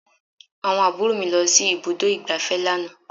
Àwọn àbúrò mi lọ sí ibùdó ìgbáfẹ́ lánàá